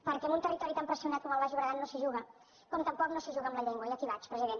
perquè amb un territori tan pressionat com el baix llobregat no s’hi juga com tampoc no es juga amb la llengua i a aquí vaig president